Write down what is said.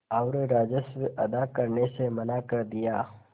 और राजस्व अदा करने से मना कर दिया